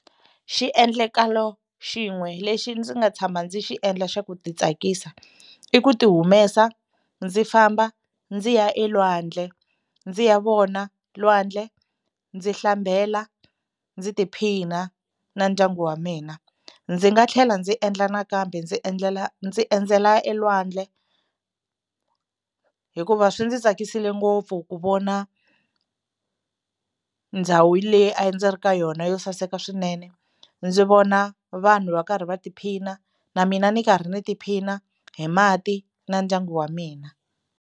Xiendlakalo xin'we lexi ndzi nga tshama ndzi xi endla xa ku titsakisa i ku tihumesa ndzi ya vona lwandle ndzi hlambela, ndzi tiphina na ndyangu wa mina. Ndzi nga tlhela ndzi endla nakambe ndzi endlela, ndzi endzela elwandle hikuva swi ndzi tsakisile ngopfu ku vona ndhawu leyi a ndzi ri ka yona yo saseka swinene, ndzi vona vanhu va karhi va tiphina na mina ni karhi ni tiphina hi mati na ndyangu wa mina.